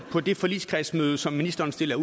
på det forligskredsmøde som ministeren stiller